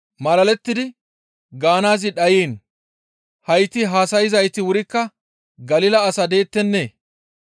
Malalettidi gaanaazi dhayiin, «Hayti haasayzayti wurikka Galila as deettennee?